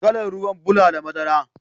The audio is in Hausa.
Kalan ruwan bula da madara.